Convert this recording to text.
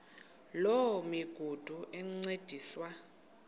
loo migudu encediswa